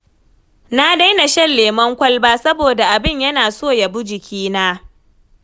Na daina shan lemon kwalba saboda abin yana so ya bi jikina.